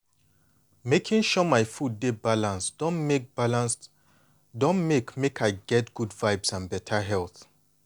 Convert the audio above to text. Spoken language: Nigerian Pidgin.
making sure my meals dey balanced don make balanced don make make i dey get good vibes and beta health.